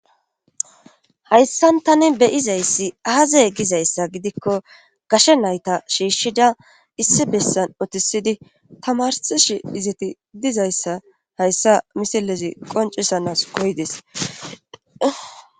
hayssan tani beyizayssi aaze gizayssa gidikko gashe nayta shiishshida issi bessan otisidi tamarsishi izeti dizayssa hayssa misilezi qoncisanas koydes